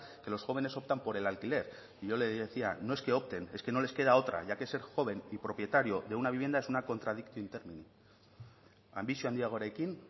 que los jóvenes optan por el alquiler yo le decía no es que opten es que no les queda otra ya que ser joven y propietario de una vivienda es una anbizio handiagoarekin